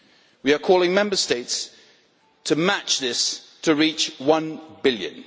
We are calling on Member States to match this to reach one billion.